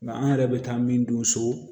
Nka an yɛrɛ bɛ taa min don so